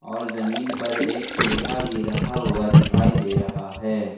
और जमीन पर एक पीड़ा भी रखा हुआ दिखाई दे रहा है।